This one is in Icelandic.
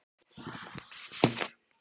Hugsar um hróin sín.